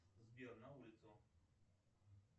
сбер на улицу